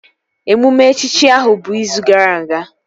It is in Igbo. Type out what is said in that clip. Emume echichi ahụ bụ izu gara aga